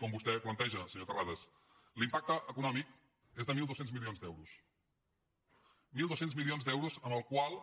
com vostè planteja senyor terrades l’impacte econòmic és de mil dos cents milions d’euros mil dos cents milions d’euros amb els quals